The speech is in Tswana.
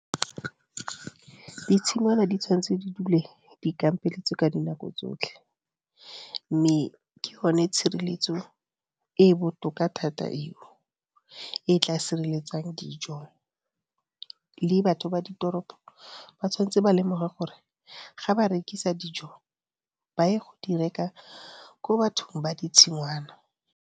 Ditshingwana di tshwanetse di dule di kampeletswe ka dinako tsotlhe, mme ke yone tshireletso e e botoka thata eo e e tla sireletsang dijo. Le batho ba ditoropo ba tshwanetse ba lemoge gore ga ba rekisa dijo, ba ye go di reka ko bathong ba ditshingwana.